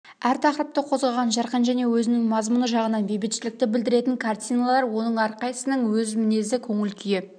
әр тақырыпты қозғаған жарқын және өзінің мазмұны жағынан бейбітшілікті білдіретін картиналар оның әрқайсының өз мінезі көңіл-күйі